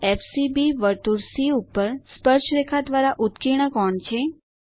∠FCB વર્તુળ સી ઉપર સ્પર્શરેખા દ્વારા ઉત્કીર્ણ કોણ છે